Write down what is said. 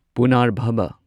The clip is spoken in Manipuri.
ꯄꯨꯅꯔꯚꯥꯕꯥ